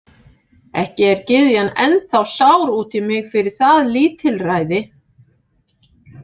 Ekki er gyðjan ennþá sár út í mig fyrir það lítilræði?